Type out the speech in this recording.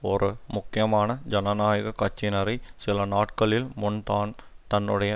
ஒரு முக்கியமான ஜனநாயக கட்சிக்காரரை சிலநாட்களின் முன்தான் தன்னுடைய